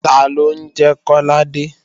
Taló ń jẹ́ Kọ́ládé?